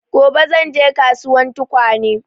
Gobe zan je kasuwan tukwane